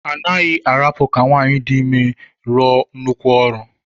A naghị arapụ ka nwaanyị dị ime rụọ nnukwu ọrụ.